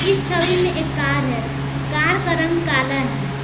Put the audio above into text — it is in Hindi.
छवि में एक कार है कार का रंग काला है।